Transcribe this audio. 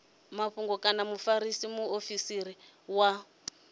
mafhungo kana mufarisa muofisiri wa